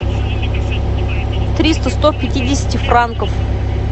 триста сто пятидесяти франков